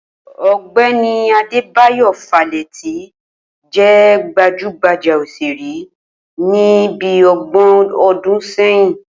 Ò̩gbé̩ni Adébáyò Fálétí jé̩ gbajúgbajá òs̩èré ní bí o̩gbò̩n o̩dún sé̩yìn